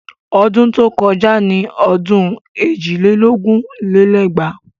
Ọdún tó kọjá ni ọdún èjì lé lógún lé lẹ́gbàá